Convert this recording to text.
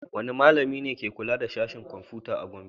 Wane malami ne ke kula da Sashen Komfuta da ke Gombe?